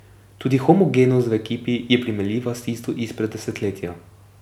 Tudi homogenost v ekipi je primerljiva s tisto izpred desetletja.